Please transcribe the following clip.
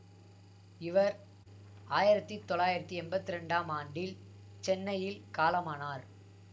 இவர் ஆயிரத்தி தொள்ளாயிரத்தி எம்பத்தி இரண்டாம் ஆண்டில் சென்னையில் காலமானார்